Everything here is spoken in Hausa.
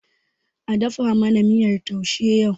A dafa mana miyar taushe yau.!